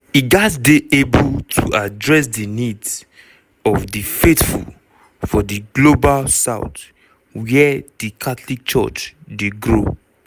e gatz dey able to address di needs of di faithful for di global south wia di catholic church dey grow.